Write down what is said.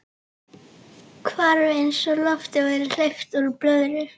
Hvarf eins og lofti væri hleypt úr blöðru.